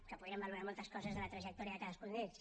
que podríem valorar moltes coses de la trajectòria de cadascun d’ells